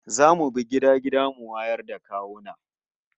Za mu bi gida gida mu wayar da kawuna